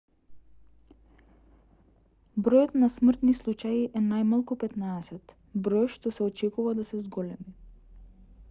бројот на смртни случаи е најмалку 15 број што се очекува да се зголеми